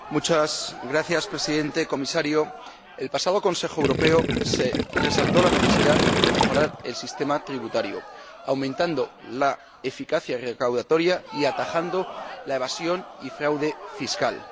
Señor Presidente, señor Comisario, en el pasado Consejo Europeo se resaltó la necesidad de mejorar el sistema tributario, aumentando la eficacia recaudatoria y atajando la evasión y el fraude fiscal.